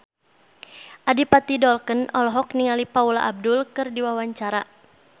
Adipati Dolken olohok ningali Paula Abdul keur diwawancara